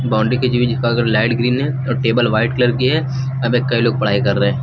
Boundary के colour light green है और टेबल व्हाइट कलर की है यहां पे कई लोग पढ़ाई कर रहे है।